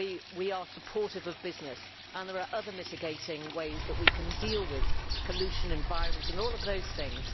we are supportive of business and there are other mitigating ways in which we can deal with pollution, environment and all of these things.